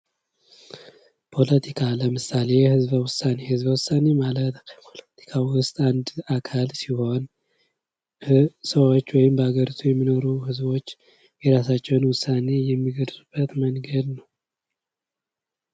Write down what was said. ፖለቲካ ለምሳሌ ህዝበ ውሳኔ፤ ህዝበ ውሳኔ ማለት ከፖለቲካ ውስጥ አንድ አካል ሲሆን ሰዎች ወይም በሀገር የሚኖሩ ህዝቦች የራሳቸውን ውሳኔ የሚገልጽበት መንገድ ነው።